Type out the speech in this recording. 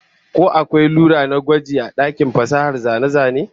Ko akwai rula na gwaji a dakin fasahar zane-zane?